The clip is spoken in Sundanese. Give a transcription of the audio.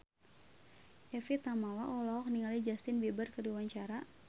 Evie Tamala olohok ningali Justin Beiber keur diwawancara